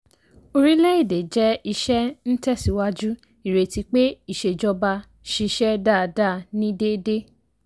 orílẹ̀ èdè jẹ́ iṣẹ́ ńtẹ̀síwájú ìrètí pé ìsèjọba ṣiṣẹ́ dáadáa ní déédéé.